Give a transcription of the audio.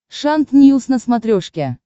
шант ньюс на смотрешке